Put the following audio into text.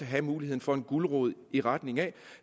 have muligheden for en gulerod i retning af